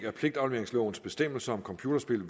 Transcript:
at pligtafleveringslovens bestemmelser om computerspil